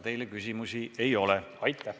Teile küsimusi ei ole.